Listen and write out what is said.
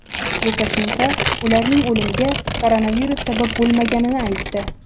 Lukashenko ularning o‘limiga koronavirus sabab bo‘lmaganini aytdi.